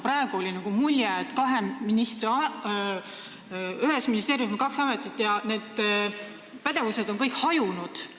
Praegu jäi mulje, et ühes ministeeriumis on kaks ametit ja kõik pädevused on hajunud.